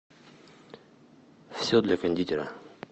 все для кондитера